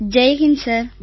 Jai Hind sir